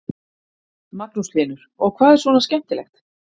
Magnús Hlynur: Og hvað er svona skemmtilegt?